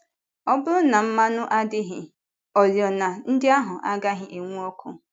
Ọ bụrụ na mmanụ adịghị, oriọna ndị ahụ agaghị enwu ọkụ.